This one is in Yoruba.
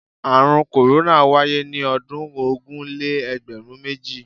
Àrùn korona wáyé ní ọdún ogún-lé-egberun-méjì.